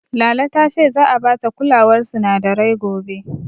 Lala ta ce za'a bata kulawar sinadarai gobe.